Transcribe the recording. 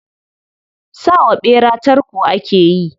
Sa wa ɓera tarko ake yi.